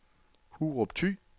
Hurup Thy